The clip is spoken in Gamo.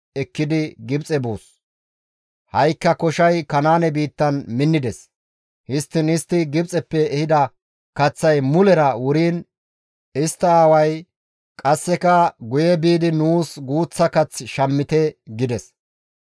Histtiin istti Gibxeppe ehida kaththay mulera wuriin istta aaway, «Qasseka guye biidi nuus guuththa kath shammite» gides.